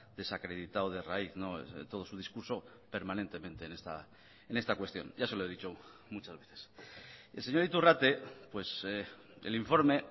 desacreditado de raíz todo su discurso permanentemente en esta cuestión ya se lo he dicho muchas veces el señor iturrate pues el informe